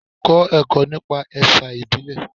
Kọ́ ẹ̀kọ́ nípa ẹ̀sà ìbílẹ̀.